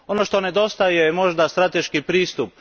Ono što nedostaje je možda strateški pristup.